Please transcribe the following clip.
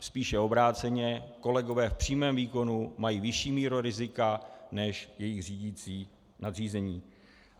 Spíše obráceně, kolegové v přímém výkonu mají vyšší míru rizika než jejich řídící nadřízení.